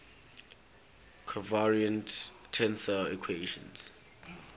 covariant tensor equations